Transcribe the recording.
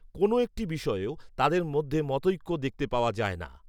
কোনো একটি বিষয়েও তাদের মধ্যে মতঐক্য দেখতে পাওয়া যায়না